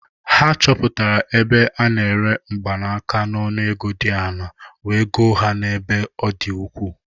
Ha chọpụtara ebe ya na-ere mgbanaka n'ọnụ ego dị ala wee goo a n'ebe ọ dị ukwuu.